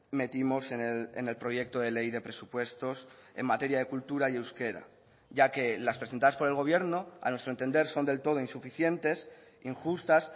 metimos en el proyecto de ley de presupuestos en materia de cultura y euskera ya que las presentadas por el gobierno a nuestro entender son del todo insuficientes injustas